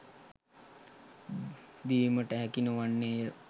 දීමට හැකි නොවන්නේය